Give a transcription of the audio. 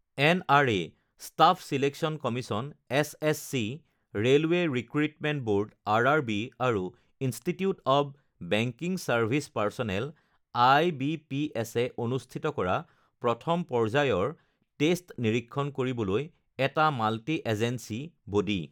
NRA staff selection commission SSC, railway recruitment board RRB আৰু institute of banking service personnel IBPS এ অনুষ্ঠিত কৰা প্ৰথম পৰ্যায়ৰ টেষ্ট নিৰীক্ষণ কৰিবলৈ এটা মাল্টি এজেঞ্চী বডি